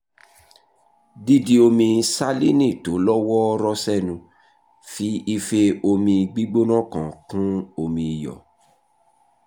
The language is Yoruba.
dídi omi salíìnì tó lọ́ wọ́ọ́rọ́ sẹ́nu: fi ife omi gbígbóná kan kún omi iyọ̀